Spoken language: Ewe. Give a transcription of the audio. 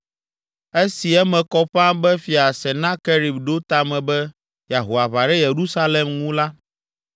Esi eme kɔ ƒãa be Fia Senakerib ɖo ta me be yeaho aʋa ɖe Yerusalem ŋu la,